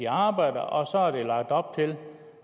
arbejder og så er der lagt op til